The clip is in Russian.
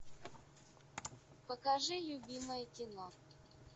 покажи любимое кино